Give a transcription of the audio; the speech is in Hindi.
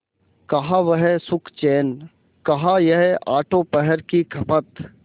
कहाँ वह सुखचैन कहाँ यह आठों पहर की खपत